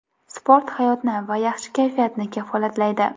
Sport hayotni va yaxshi kayfiyatni kafolatlaydi.